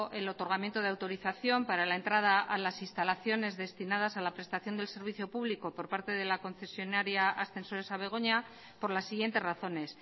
el otorgamiento de autorización para la entrada a las instalaciones destinadas a la prestación del servicio público por parte de la concesionaria ascensores a begoña por las siguientes razones